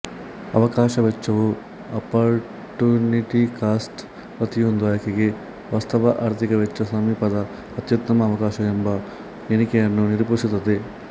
ಅವಕಾಶ ವೆಚ್ಚವು opportunity cost ಪ್ರತಿಯೊಂದು ಆಯ್ಕೆಗೆ ವಾಸ್ತವ ಆರ್ಥಿಕ ವೆಚ್ಚ ಸಮೀಪದ ಅತ್ಯುತ್ತಮ ಅವಕಾಶ ಎಂಬ ಎಣಿಕೆಯನ್ನು ನಿರೂಪಿಸುತ್ತದೆ